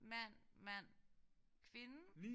Mand mand kvinde